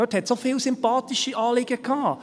Dort hatte es auch viele sympathische Anliegen.